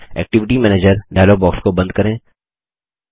activity manager dialog box को बंद करें